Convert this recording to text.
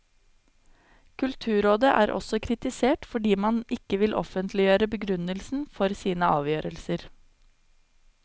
Kulturrådet er også kritisert fordi man ikke vil offentliggjøre begrunnelsen for sine avgjørelser.